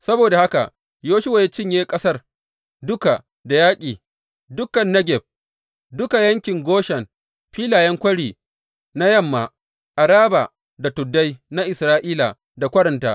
Saboda haka Yoshuwa ya cinye ƙasar duka da yaƙi, dukan Negeb, duka yankin Goshen, filayen kwari na yamma, Araba da tuddai na Isra’ila da kwarinta.